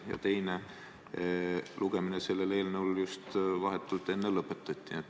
Ja teine lugemine äsja just lõpetati.